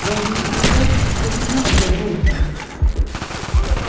даже неприятно вспоминать об этом